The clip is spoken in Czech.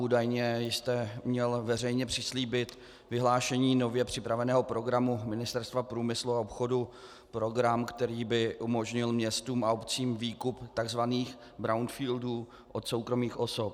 Údajně jste měl veřejně přislíbit vyhlášení nově připraveného programu Ministerstva průmyslu a obchodu, program, který by umožnil městům a obcím výkup tzv. brownfieldů od soukromých osob.